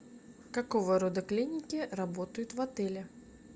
какого рода клиники работают в отеле